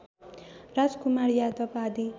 राजकुमार यादव आदि